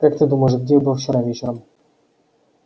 как ты думаешь где я был вчера вечером